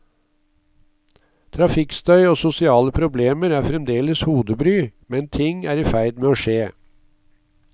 Trafikkstøy og sosiale problemer er fremdeles hodebry, men ting er i ferd med å skje.